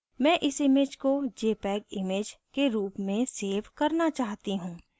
मैं इस image को jepg image के रूप में सेव करना चाहती हूँ